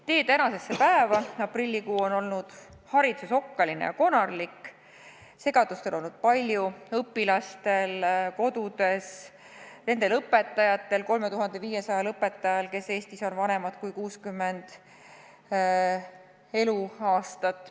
Tee tänasesse päeva läbi aprillikuu on olnud hariduses okkaline ja konarlik, segadust on olnud palju nii õpilastel kodudes kui ka nende õpetajatel, 3500 õpetajal, kes on vanemad kui 60 eluaastat.